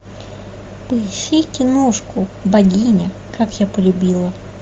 поищи киношку богиня как я полюбила